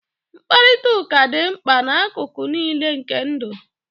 mkparịta ụka dị mkpa n'akụkụ niile nke ndụ